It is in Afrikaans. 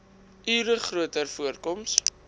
ure groter voorkoms